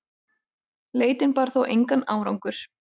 Leitin bar þó engan árangur.